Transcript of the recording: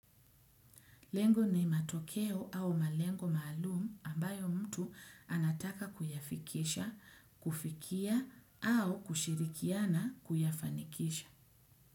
Lengo ni matokeo au malengo maalumu ambayo mtu anataka kuyafikisha, kufikia au kushirikiana kuyafanikisha.